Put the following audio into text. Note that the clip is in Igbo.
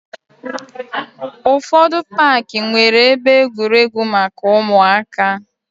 Ụfọdụ paaki nwere ebe egwuregwu maka ụmụaka.